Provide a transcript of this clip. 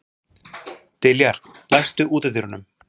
Diljar, læstu útidyrunum.